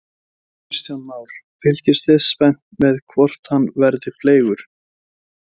Kristján Már: Fylgist þið spennt með hvort hann verði fleygur?